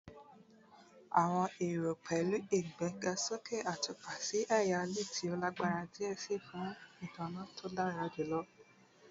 Awọn ero pẹlu igbegasoke atupa si ẹya LED ti o lagbara diẹ sii fun itanna to dara julọ